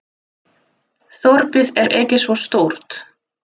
Þorpið er ekki svo stórt.